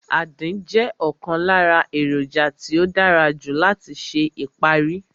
Àdín jẹ́ ọ̀kan lára èròjà tí ó dára jù lọ láti ṣe ìparí